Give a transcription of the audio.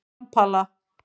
Kampala